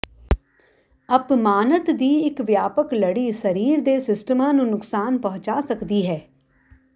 ਅਪਮਾਨਤ ਦੀ ਇੱਕ ਵਿਆਪਕ ਲੜੀ ਸਰੀਰ ਦੇ ਸਿਸਟਮਾਂ ਨੂੰ ਨੁਕਸਾਨ ਪਹੁੰਚਾ ਸਕਦੀ ਹੈ